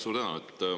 Suur tänu!